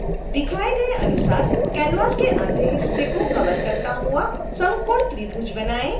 दिखाए गए अनुसार canvas के आधे हिस्से को कवर करता हुआ समकोण त्रिभुज बनाएं